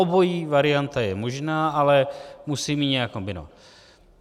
Obojí varianta je možná, ale musím ji nějak kombinovat.